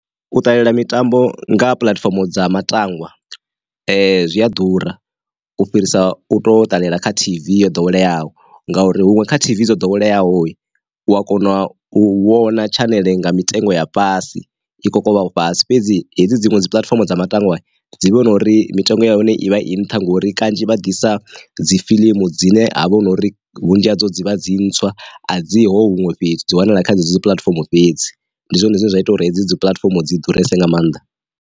U ṱalela mitambo nga puḽatifomo dza matangwa, zwi a ḓura u fhirisa u to ṱalela kha tv yo ḓoweleaho ngauri huṅwe kha T_V dzo ḓoweleaho u a kona u vhona tshaneḽe nga mitengo ya fhasi i khou kona u fhasi fhedzi hedzi dziṅwe dzi puḽatifomo dza matangwa dzi vhona uri mitengo ya hone i vha i nṱha ngori kanzhi vha ḓisa dzifilimu dzine ha vha hu na uri vhunzhi hadzo dzivha dzi ntswa a dzi huṅwe fhedzi wanala kha dzi puḽatifomo fhedzi, ndi zwone zwine zwa ita uri hedzi dzi puḽatifomo dzi ḓuresa nga maanḓa.